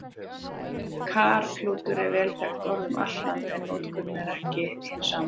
Karklútur er vel þekkt orð um allt land, en notkunin er ekki alltaf hin sama.